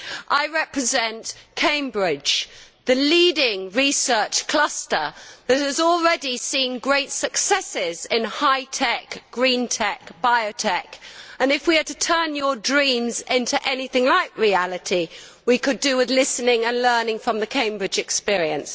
I represent Cambridge, which is home to the leading research cluster that has already seen great successes in high tech, green tech and bio tech. If we are to turn your dreams into anything like reality, then we could do with listening to, and learning from, the Cambridge experience.